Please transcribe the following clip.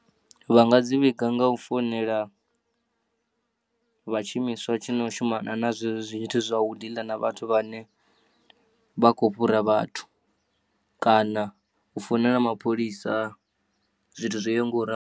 Vha nga dzi vhiga ngau founela vha tshiimiswa tshi no shumana na zwe zwo zwithu zwa u diḽa na vhathu vhane vha kho fhura vhathu kana u founela mapholisa zwithu zwoyaho ngauralo.